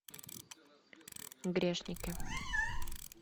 грешники